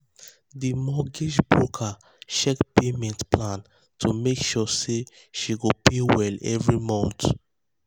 di mortgage broker check payment um plan to make sure say she go pay well every month.